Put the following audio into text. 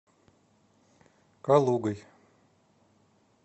калугой